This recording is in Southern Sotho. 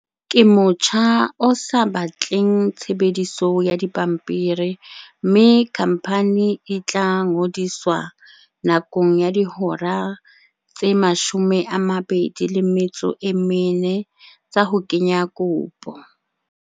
"Ke motjha o sa batleng tshebediso ya dipampiri mme khamphani e tla ngodiswa nakong ya dihora tse 24 tsa ho kenya kopo."